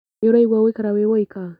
Nĩ ũraigua gũikara wĩ wũika?